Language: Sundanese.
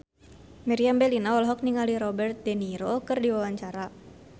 Meriam Bellina olohok ningali Robert de Niro keur diwawancara